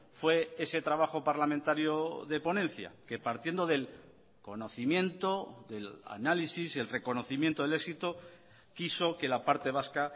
fue ese trabajo parlamentario de ponencia que partiendo del conocimiento del análisis y el reconocimiento del éxito quiso que la parte vasca